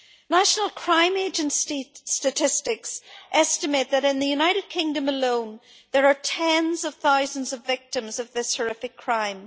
National Crime Agency statistics estimate that, in the United Kingdom alone, there are tens of thousands of victims of this horrific crime.